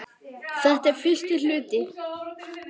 Þetta er fyrsti hluti.